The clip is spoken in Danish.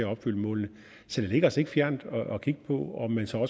opfylde målene så det ligger os ikke fjernt at kigge på om man så